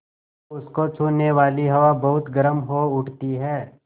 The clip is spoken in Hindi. तो उसको छूने वाली हवा बहुत गर्म हो उठती है